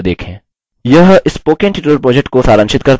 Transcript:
यह spoken tutorial project को सारांशित करता है